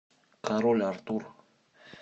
король артур